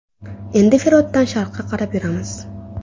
Endi Firotdan sharqqa qarab yuramiz.